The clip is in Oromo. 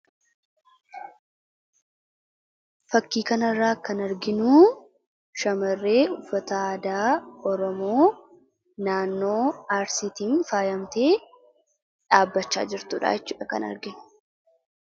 Fakkii kanarraa kan arginuu shamarree uffata aadaa Oromoo naannoo Arsiitiin faayamtee dhaabbachaa jirtuu dhaa jechuu dha kan arginu.